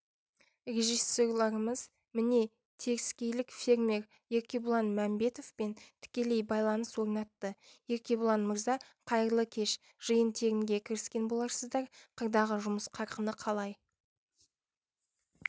режиссерларымыз міне теріскейлік фермер еркебұлан мәмбетовпен тікелей байланыс орнатты еркебұлан мырза қайырлы кеш жиын-терінге кіріскен боларсыздар қырдағы жұмыс қарқыны қалай